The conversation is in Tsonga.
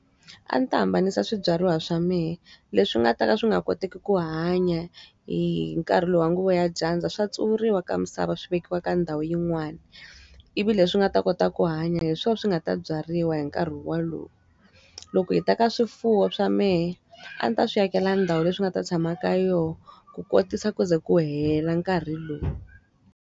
A ndzi ta hambanisa swibyariwa swa mehe. Leswi nga ta ka swi nga koteki ku hanya hi nkarhi lowu nguva ya dyandza, swa tsuvuriwa ka misava swi vekiwa ka ndhawu yin'wana. Ivi leswi nga ta kota ku hanya hi swona swi nga ta byariwa hi nkarhi wolowo. Loko hi ta ka swifuwo swa mehe, a ndzi ta swi akela ndhawu leyi swi nga ta tshamaka yona, ku kotisa ku ze ku hela nkarhi lowu.